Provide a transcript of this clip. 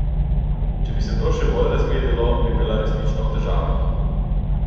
Če bi se to še bolj razvedelo, bi bila resnično v težavah.